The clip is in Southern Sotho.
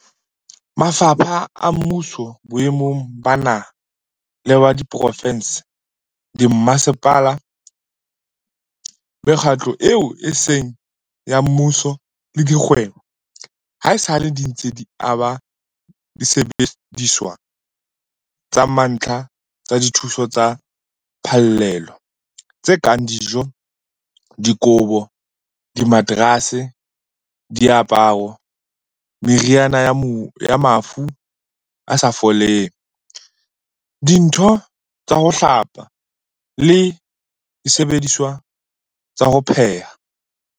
Mafapha a mmuso boemong ba naha le ba diprovense, dimmasepala, mekgatlo eo e seng ya mmuso le dikgwebo, haesale di ntse di aba disebediswa tsa mantlha tsa dithuso tsa phallelo tse kang dijo, dikobo, dimaterase, diaparo, meriana ya mafu a sa foleng, dintho tsa ho hlapa le disebediswa tsa ho pheha.